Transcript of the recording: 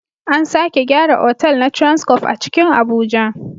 An sake gyara otal na transcof a cikin Abuja